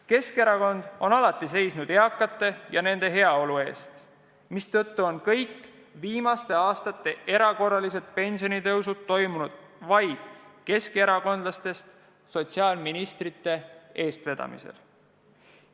Keskerakond on alati seisnud eakate ja nende heaolu eest, mistõttu on kõik viimaste aastate erakorralised pensionitõusud on toimunud vaid keskerakondlastest sotsiaalministrite eestvedamisel.